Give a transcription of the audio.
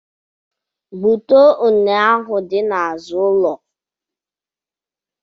Gbutuo unne ahụ dị n’azụ ụlọ